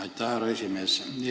Aitäh, härra esimees!